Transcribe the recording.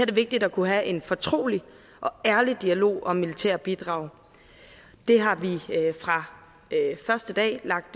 det vigtigt at kunne have en fortrolig og ærlig dialog om militære bidrag det har vi fra første dag lagt